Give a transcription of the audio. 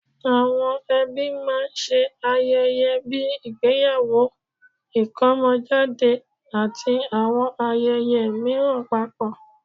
Àwọn ẹbí máa ń ṣe ayẹyẹ bíi ìgbéyàwó, ìkómọjáde, àti àwọn ayẹyẹ mìíràn papọ̀